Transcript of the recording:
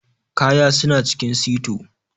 Ƙaya suna cikin sito.